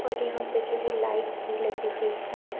और यहाँ पे जो हैलाइट्स भी लगी हुई है।